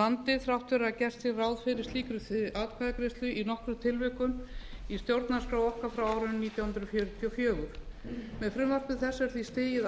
landi þrátt fyrir að gert sé ráð fyrir slíkri atkvæðagreiðslu í nokkrum tilvikum í stjórnarskrá okkar frá árinu nítján hundruð fjörutíu og fjögur með frumvarpi þessu er því stigið